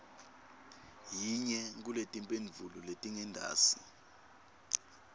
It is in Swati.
yinye kuletimphendvulo letingentasi